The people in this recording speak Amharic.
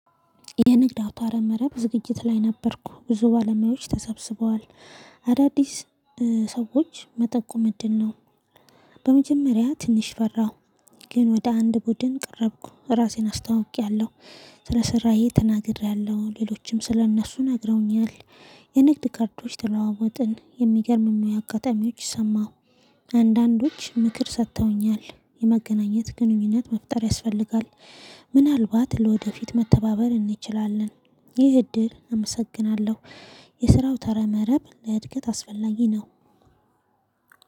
የንግድ አውታረ መረብ በዝግጅት ላይ ነበርኩ። ብዙ ባለሙያዎች ተሰብስበዋል፤ አዳዲስ ሰዎች መጠቆም እድል ነው። በመጀመሪያ ትንሽ ፈራሁ ግን ወደ አንድ ቡድን ቀረብኩ። ራሴን አስታውቄያለሁ፣ ስለሰራዬ ተናግሬያለሁ ሌሎችም ስለእነሱ ነግረውኛል። የንግድ ካርዶች ተለዋወጥን፣ የሚገርም ሙያ አጋጣሚዎች ሰማሁ። አንዳንዶች ምክር ሰጥተውኛል፣ የመገናኘት ግንኙነት መፍጠር ያስፈልጋል። ምናልባት ለወደፊት መተባበር እንችላለን። ይህ እድል አመሰግናለሁ። የስራው አውታረ መረብ ለእድገት አስፈላጊ ነው።